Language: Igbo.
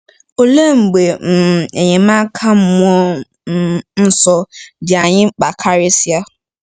Olee mgbe um enyemaka mmụọ um nsọ dị anyị mkpa karịsịa?